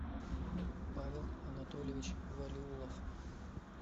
павел анатольевич валиулов